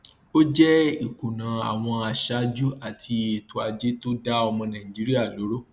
ó jẹ ìkùnà àwọn aṣáájú àti ètò ajé tó dá ọmọ nàìjíríà lóró